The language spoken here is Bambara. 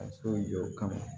Ka so in jɔ o kama